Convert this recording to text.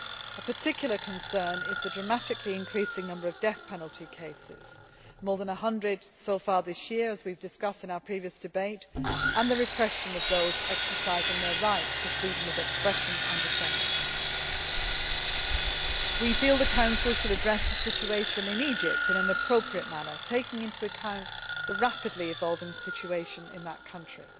A particular concern is the dramatically increasing number of death penalty cases more than 100 so far this year, as we discussed in our previous debate and the repression of those exercising their rights to freedom of expression and assembly. We feel the Council should address the situation in Egypt in an appropriate manner, taking into account the rapidly evolving situation in that country.